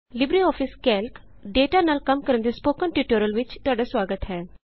Libre office Calc data ਨਾਲ ਕੰਮ ਦੇ ਸਪੋਕਨ ਟਿਯੂਟੋਰਿਅਲ ਵਿਚ ਤੁਹਾਡਾ ਸੁਆਗਤ ਹੈ